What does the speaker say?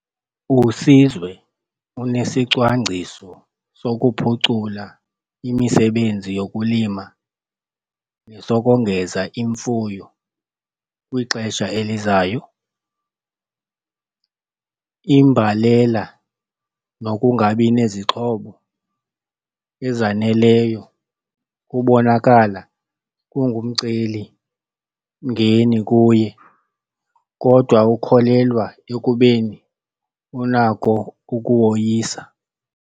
USizwe unesicwangciso sokuphucula imisebenzi yokulima nesokongeza imfuyo kwixesha elizayo. Imbalela nokungabi nezixhobo ezaneleyo kubonakala kungumcelimngeni kuye, kodwa ukholelwa ekubeni unako ukuwoyisa.